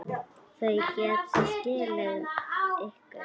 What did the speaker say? Þau geta skilið ykkur.